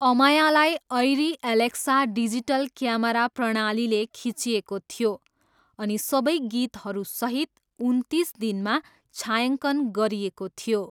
अमायालाई Arri Alexa digital camera प्रणालीले खिचिएको थियो अनि सबै गीतहरूसहित उन्तिस दिनमा छायाङ्कन गरिएको थियो।